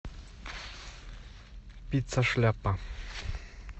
пицца шляпа